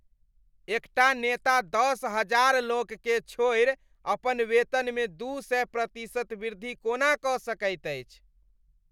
एकटा नेता दश हजार लोककेँ छोड़ि अपन वेतनमे दू सए प्रतिशत वृद्धि कोना कऽ सकैत अछि।